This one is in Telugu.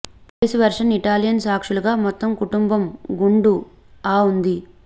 పోలీసు వెర్షన్ ఇటాలియన్ సాక్షులుగా మొత్తం కుటుంబం గుండు ఆ ఉంది